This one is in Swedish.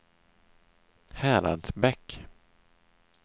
Häradsbäck